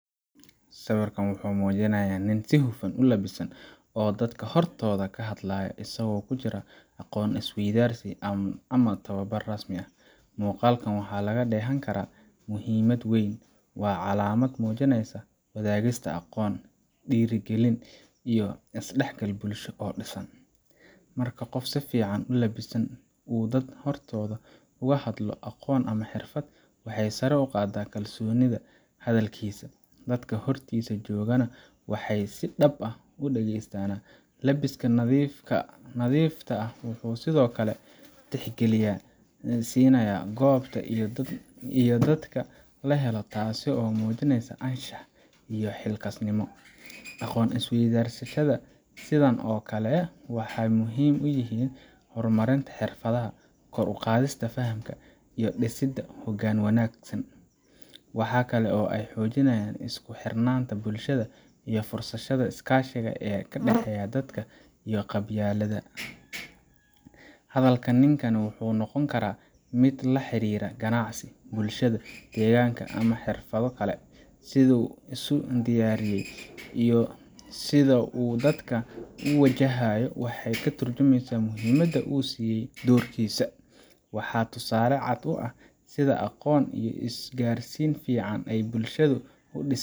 Sawirkan wuxuu muujinayaa nin si hufan u labisan oo dadka hortooda ka hadlayo, isagoo ku jira aqoon is weydaarsi ama tababar rasmi ah. Muuqaalkan waxaa laga dheehan karaa muhiimad weyn waa calaamad muujinaysa wadaagista aqoon, dhiirrigelin iyo is dhexgal bulsho oo dhisan. Marka qof si fiican u labisan uu dad hortooda uga hadlo aqoon ama xirfad, waxay sare u qaaddaa kalsoonida hadalkiisa, dadka hortiisa joogana waxay si dhab ah u dhegeystaana. Labiska nadiifta ah wuxuu sidoo kale tixgelin siinayaa goobta iyo dadka la helo, taasoo muujinaysa anshax iyo xilkasnimo. Aqoon is weydaarsiyada sidaan oo kale ah waxay muhiim u yihiin horumarinta xirfadaha, kor u qaadista fahamka, iyo dhisidda hoggaan wanaagsan. Waxa kale oo ay xoojiyaan isku xirnaanta bulshada iyo fursadaha iskaashi ee u dhexeeya dadka ka qabyalada. Hadalka ninkani wuxuu noqon karaa mid la xiriira ganacsiga, bulshada, deegaanka ama xirfado kale. Sida uu isu diyaariyay iyo sida uu dadka u wajahayo waxay ka tarjumaysaa muhiimadda uu siiyay doorkiisa. Waa tusaale cad oo ah sida aqoon iyo isgaarsiin fiican ay bulshada u dhisi.